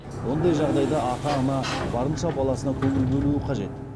ондай жағдайда ата ана барынша баласына көңіл бөлуі қажет